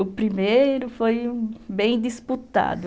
O primeiro foi bem disputado.